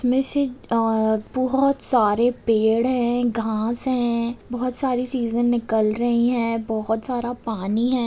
इसमें से अ बहोत सारे पेड़ हैं घाँस हैं बहोत सारी चीजें निकल रही हैं | बहोत सारा पानी है।